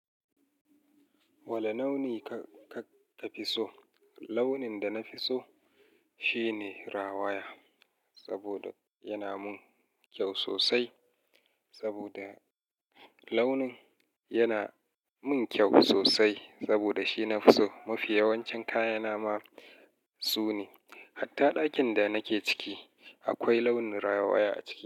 Wane launi ka ka fi so? Launin da na fi so shine rawaya, saboda yana mun kyau sosai. Saboda launin yana mun kyau sosai. Saboda shi mafi yawancin kayana ma su ne. Hatta ɗakin da nake ciki akwai launin rawaya a ciki.